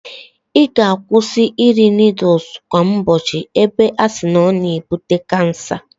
I ga-akwụsi iri nudul kwa ubochi ebe a si na o na-ebute kansa.